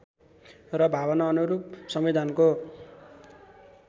र भावनाअनुरूप संविधानको